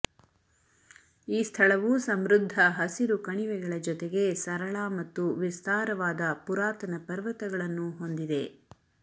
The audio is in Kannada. ಈ ಸ್ಥಳವು ಸಮೃದ್ಧ ಹಸಿರು ಕಣಿವೆಗಳ ಜೊತೆಗೆ ಸರಳ ಮತ್ತು ವಿಸ್ತಾರವಾದ ಪುರಾತನ ಪರ್ವತಗಳನ್ನೂ ಹೊಂದಿದೆ